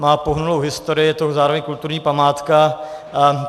Má pohnutou historii, je to zároveň kulturní památka.